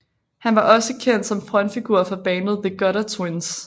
Han var også kendt som frontfigur for bandet The Gutter Twins